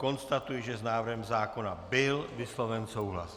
Konstatuji, že s návrhem zákona byl vysloven souhlas.